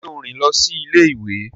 Ṣe o rìn lọ si ilé-ìwé?